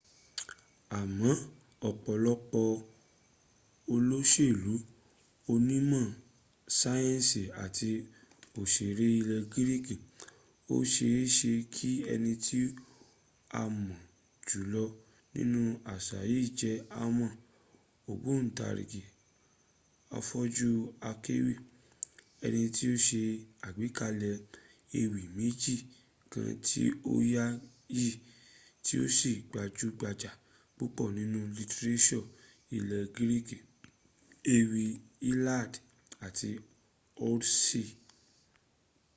a mọ ọ̀pọ̀lọpọ̀ olóṣèlú onímọ̀ sayẹnsì àti òṣèré ilẹ̀ greek. ó ṣe é ṣe kí ẹni tí a mọ̀ jùlọ nínú àṣà yìí jẹ́ homer ògbọǹtarìgì afọ́jú akéwì ẹni tí ó ṣe àgbékalẹ̀ ewì méjì kan tí o yááyì tí ó sì gbajúgbajà púpọ̀ nínú lítíréṣọ̀ ilẹ̀ greek: ewì iliad àti odyssey